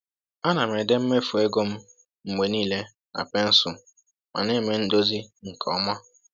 A na m ede mmefu ego m mgbe niile na pensụl ma na-eme ndozi nke ọma